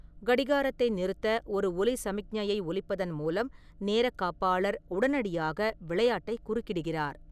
கடிகாரத்தை நிறுத்த ஒரு ஒலி சமிக்ஞையை ஒலிப்பதன் மூலம் நேரக்காப்பாளர் உடனடியாக விளையாட்டை குறுக்கிடுகிறார்.